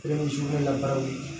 Kelen ye sugunɛ labaaraw ye